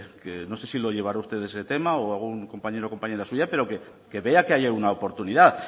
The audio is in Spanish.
que no sé si lo llevará usted ese tema o algún compañero o compañera suya pero que vea que haya una oportunidad